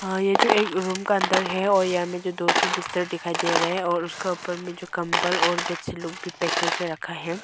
ये जो एक रूम का अंदर है और यहां में जो दो बिस्तर दिखाई दे रहा है और उसका ऊपर में जो कंबल और भी पैक करके रखा है।